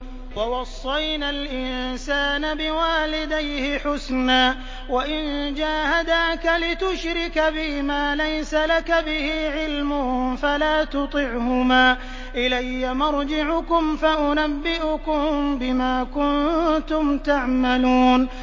وَوَصَّيْنَا الْإِنسَانَ بِوَالِدَيْهِ حُسْنًا ۖ وَإِن جَاهَدَاكَ لِتُشْرِكَ بِي مَا لَيْسَ لَكَ بِهِ عِلْمٌ فَلَا تُطِعْهُمَا ۚ إِلَيَّ مَرْجِعُكُمْ فَأُنَبِّئُكُم بِمَا كُنتُمْ تَعْمَلُونَ